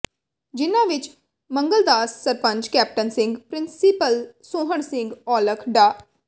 ਜਿਨਾਂ ਵਿੱਚ Mangaldas sarpanch captain Singh principal Sohan Singh Aulakh ਡਾ